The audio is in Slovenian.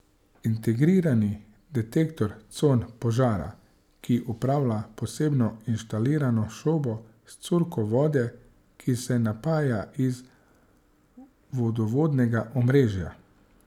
Integrirani detektor con požara, ki upravlja posebno inštalirano šobo s curkom vode, ki se napaja iz vodovodnega omrežja.